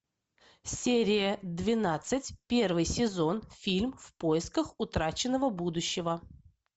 серия двенадцать первый сезон фильм в поисках утраченного будущего